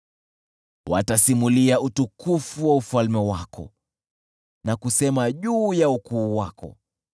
Watasimulia utukufu wa ufalme wako na kusema juu ya ukuu wako,